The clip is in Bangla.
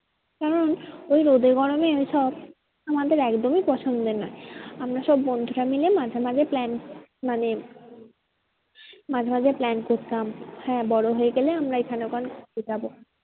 কারণ ওই রোদে গরমে ওইসব আমাদের একদমই পছন্দের নয়। আমরা সব বন্ধুরা মিলে মাঝে মাঝে plan মানে মাঝে মাঝে plan করতাম হ্যাঁ বড়ো হয়ে গেলে আমরা এখান ওখান যাবো।